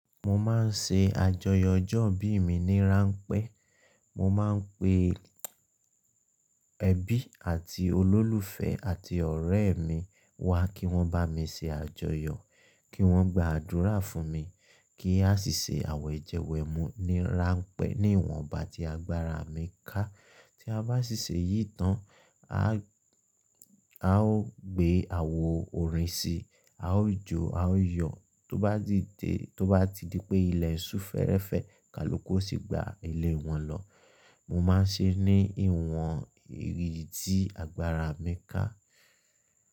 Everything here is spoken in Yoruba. Mo máa ń ṣe àjọyọ̀ ọjọ́ ìbí mi ní ránpẹ́. Mo máa ń pe ẹbí àti olólùfẹ́ àti ọ̀rẹ́ mi wá kí wọ́n bá mi ṣe àjọyọ̀, kí wọ́n gba àdúrà fún mi, kí a sì ṣe àwẹ̀jẹ wẹ̀mú ní ránpẹ́ ní ìwọ̀n ọba tí agbára mi ká. Tí a bá ṣì ṣe yìí tán, a ó gbé àwo orin si, a ó jó, a ó yọ̀. Tó bá ti di pé ilẹ̀ ṣù fẹ́rẹ́fẹ́ kalúkó sì gba ilé wọn lọ. Mo máa ń ṣe ní ìwọ̀n ìrì ti agbára mi ká.